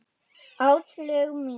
Áslaug mín!